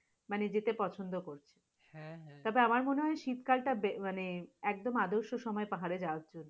মানে যেতে পছন্দ করবে, যাতে আমার মনে হয় শীতকালটা বে মানে একদম আদর্শ সময় পাহাড়ে যাওয়ার জন্য।